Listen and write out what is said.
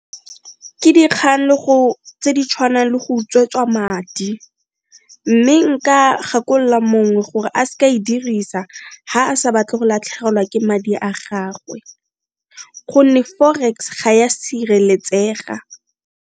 Ke dikgang tse di tshwanang le go utswetswa madi mme nka gakolola mongwe gore a s'ka e dirisa ga a sa batle go latlhegelwa ke madi a gagwe gonne forex ga ya sireletsega.